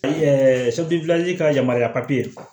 ka yamaruya